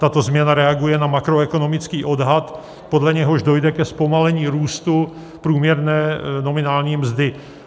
Tato změna reaguje na makroekonomický odhad, podle něhož dojde ke zpomalení růstu průměrné nominální mzdy.